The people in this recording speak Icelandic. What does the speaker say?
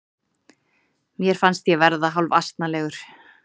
Mér fannst ég verða hálfasnalegur.